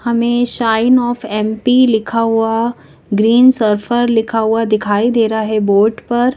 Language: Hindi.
हमें शाइन ऑफ एम_पी लिखा हुआ ग्रीन सर्फर लिखा हुआदिखाई दे रहा है बोर्ड पर--